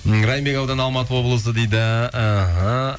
м райымбек ауданы алматы облысы дейді іхі